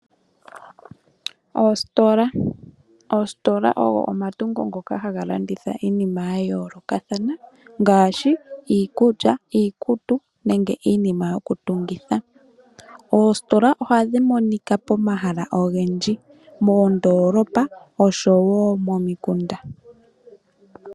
Oositola, oositola ogo omatungu ngoka haga landitha iinima ya yoolokathana ngaashi iikulya, iikutu nenge iinima yokutungitha. Oositola ohadhi monika pomahala ogendji moondoolopa oshowo momikunda.